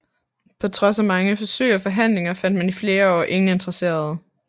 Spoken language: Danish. På trods af mange forsøg og forhandlinger fandt man i flere år ingen interesserede